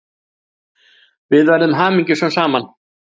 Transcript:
Við verðum hamingjusöm saman.